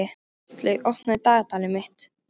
Kristlaug, opnaðu dagatalið mitt.